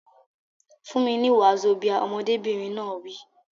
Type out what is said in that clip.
Fún mi ní wazobia! Ọmọdébìnrin náà wí.